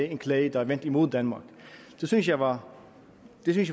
af en klage vendt mod danmark det synes jeg var